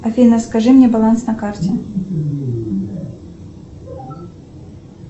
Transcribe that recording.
афина скажи мне баланс на карте